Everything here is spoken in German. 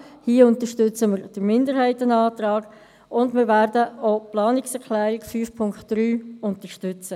Hier unterstützen wir den Minderheitsantrag, und wir werden auch die Planungserklärung 5.3 unterstützen.